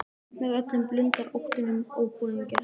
Með öllum blundar óttinn um óboðinn gest.